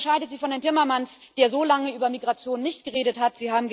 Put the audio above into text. Das unterscheidet Sie von Herrn Timmermans, der so lange über Migration nicht geredet hat.